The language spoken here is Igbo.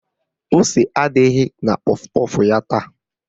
Ose adịghị na kpọf kpọf ya taa